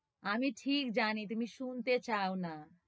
আমি ঠিক জানি তুমি শুনতে চাওনা,